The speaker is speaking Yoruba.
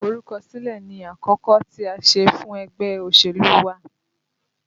Iforukosile ni àkọ́kọ́ tí a ṣe fún ẹgbẹ́ òṣèlú wa